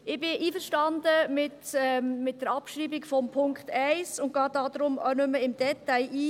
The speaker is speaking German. Ich bin auch einverstanden mit der Abschreibung von Punkt 1 und gehe daher auch nicht im Detail darauf ein.